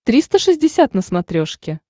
триста шестьдесят на смотрешке